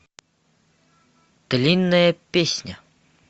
длинная песня